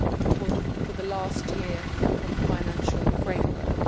for the last year of the financial framework.